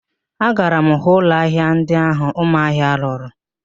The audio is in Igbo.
Agara m hụ ụlọ ahịa ndi ahụ Ụmahị lụrụ